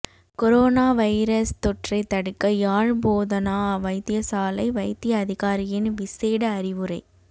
corona virus தொற்றைத் தடுக்க யாழ் போதனா வைத்தியசாலை வைத்திய அதிகாரியின் விசேட அறிவுரை